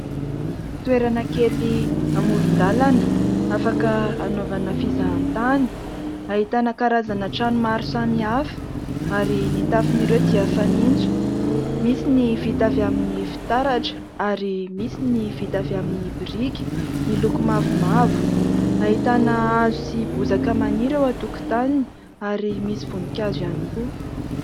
Toerana kely amoron-dalana afaka hanaovana fizahatany. Ahitana karazana trano maro samihafa ary ny tafon'ireo dia fanitso, misy ny vita avy amin'ny fitaratra ary misy ny vita avy amin'ny biriky miloko mavomavo. Ahitana hazo sy bozaka maniry eo an-tokotaniny ary misy voninkazo ihany koa.